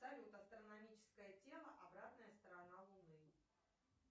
салют астрономическое тело обратная сторона луны